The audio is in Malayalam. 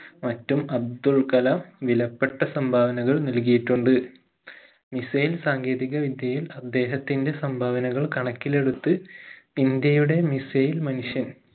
മറ്റും അബ്ദുൽ കലാം വിലപ്പെട്ട സംഭാവനകൾ നൽകിയിട്ടുണ്ട് missile സാങ്കേതിക വിദ്യയിൽ അദ്ദേഹത്തിന്റെ സംഭാവനകൾ കണക്കിലെടുത്ത് ഇന്ത്യയുടെ missile മനുഷ്യൻ